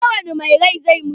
Kowani mai rai zai mutu.